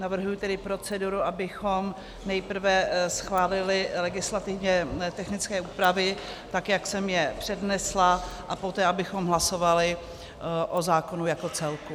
Navrhuji tedy proceduru, abychom nejprve schválili legislativně technické úpravy, tak jak jsem je přednesla, a poté abychom hlasovali o zákonu jako celku.